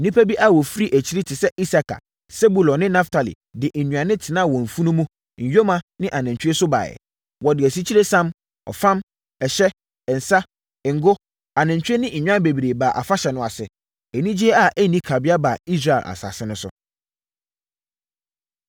Nnipa bi a wɔfiri akyiri te sɛ Isakar, Sebulon, ne Naftali de nnuane tenaa wɔn mfunumu, nyoma ne anantwie so baeɛ. Wɔde asikyiresiam, ɔfam, ɛhyɛ, nsã, ngo, anantwie ne nnwan bebree baa afahyɛ no ase. Anigyeɛ a ɛnni kabea baa Israel asase so.